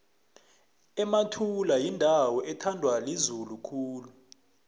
emathula yindawo ethandwa lizulu khulu